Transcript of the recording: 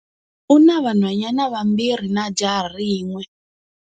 U na vanhwanyana vambirhi na jaha rin'we.